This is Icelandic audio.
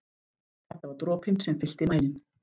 Þetta var dropinn sem fyllti mælinn.